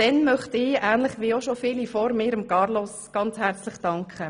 Nun möchte ich, wie schon viele vor mir, Carlos Reinhard ganz herzlich danken.